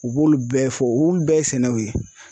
U b'olu bɛɛ fɔ olu bɛɛ ye sɛnɛw ye.